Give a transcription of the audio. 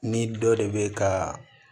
Ni dɔ de bɛ ka